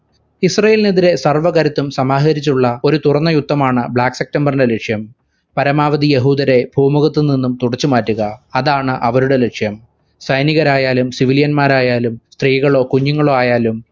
ഇസ്രയേലിനെതിരെ സർവകരുത്തും സമാഹരിച്ചുള്ള ഒരു തുറന്ന യുദ്ധമാണ് black september ന്റെ ലക്ഷ്യം. പരമാവധി യഹൂദരെ പൂമുഖത്തുനിന്നും തുടച്ചുമാറ്റുക അതാണ് അവരുടെ ലക്ഷ്യം. സൈനികരായാലും civilian മാരായാലും സ്ത്രീകളോ കുഞ്ഞുങ്ങളോ ആയാലും